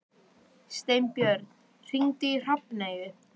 Steinbjörn, hringdu í Hrafneyju.